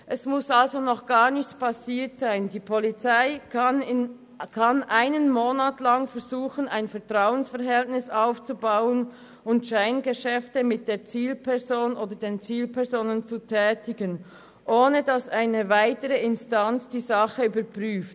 Es muss also noch gar nichts passiert sein – die Polizei kann einen Monat lang versuchen, ein Vertrauensverhältnis aufzubauen und Scheingeschäfte mit der Zielperson oder den Zielpersonen zu tätigen, ohne dass eine weitere Instanz die Sache überprüft.